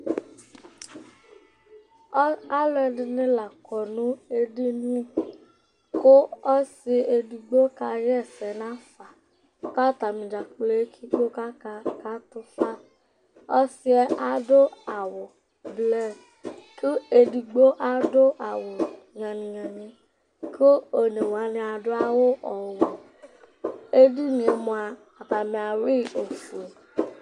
Alʋ ɛdɩnɩ la akɔ nʋ edini, kʋ ɔsɩ edigbo kaɣa ɛsɛ nafa, kʋ atanɩ ekple utu kʋ aka katʋ fa Ɔsɩ yɛ adʋ awʋ ɛblɔ, kʋ edigbo adʋ awʋ nyɔlɩnyɔlɩ, kʋ one wanɩ adʋ awʋ ɔwɛ Edini yɛ li mʋa, atanɩ ayʋɩ yɩ nʋ ofue